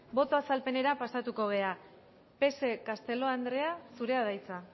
boto azalpenera pasatuko gera psek castelo andrea zurea da hitza